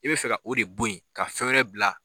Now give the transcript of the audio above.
I bɛ fɛ ka o de bɔ yen ka fɛn wɛrɛ bila.